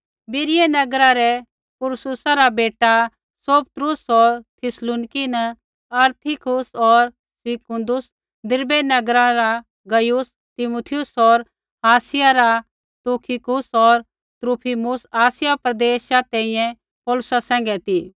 बीरियै नगरा रै पुरूर्सा रा बेटा सोपत्रुस होर थिस्सलुनीकि न अरिस्तर्खुस होर सिकुन्दुस दिरबै नगरा रा गयुस तीमुथियुस होर आसिया रा तुखिकुस होर त्रुफिमुस आसिया प्रदेशा तैंईंयैं पौलुसा सैंघै ती